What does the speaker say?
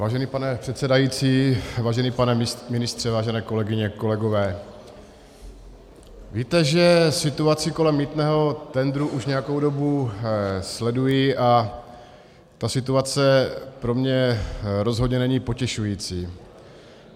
Vážený pane předsedající, vážený pane ministře, vážené kolegyně, kolegové, víte, že situaci kolem mýtného tendru už nějakou dobu sleduji, a ta situace pro mě rozhodně není potěšující.